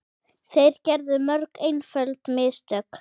Þeir gerðu mörg einföld mistök.